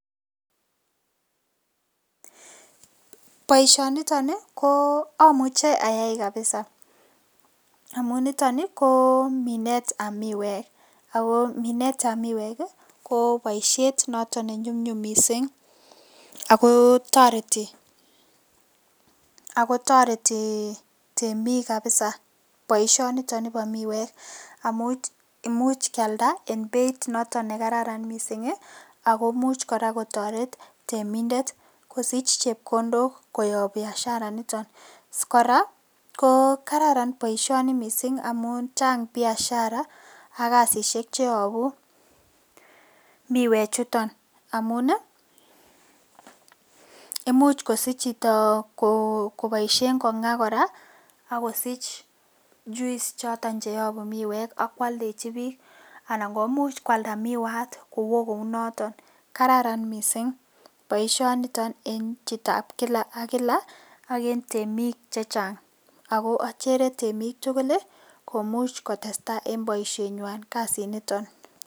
Boisioni ko omuche ayai kabisa amun noto ii ko minetab miwek, ako minetab miwek koboishet noton nenyumnyum misink ako toreti temik kabisa boisioniton nibo miwek amun imuch kialda en beit noton nekararan akmuch koraa kotoret temindet kosich chepkondok koyob biashara initon ,koraa ko Kararan boisioni amun chang biashara ak kasishek cheobu miwechuton amun ii imuch kosich chito koboisien kongaa koraa ak kosich choton juice cheyobu miwek ak kwoldechi bik anan komuch kwalda miwat ak kowo kounoniton , Kararan misink boisioniton en chitab kila ak kila ak en temik chechang, ako ochere temik tugul ii komuch kotestaa en boishenywan kasiniton.